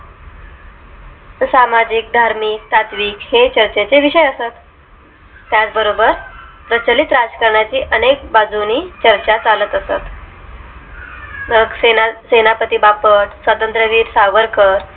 सामाजिक, धार्मिक, तात्विक हे चर्चे चे विषय असतात त्याचबरोबर प्रचलित राजकारणा ची अनेक बाजूंनी चर्चा चालत असतात सक्सेना सेनापती बापट स्वातंत्र्यवीर सावरकर